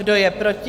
Kdo je proti?